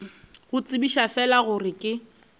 go tsebiša fela gore ke